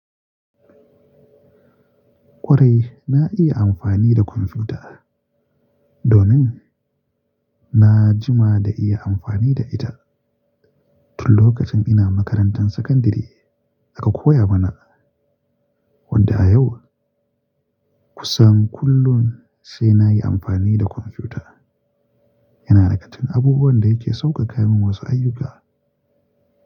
Kwarai, na iya amfani da kwamfuta domin na jima da iya amfani da ita tun lokacin ina makarantar sakandare aka koya mana, wadda a yau kusan kullum sai na yi amfani da kwamfuta. Yana daga cikin abubuwan da yake sauƙaƙa min wasu ayyuka.